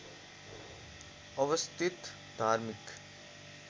अवस्थित धार्मिक